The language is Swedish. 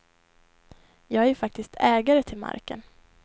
Jag är ju faktiskt ägare till marken.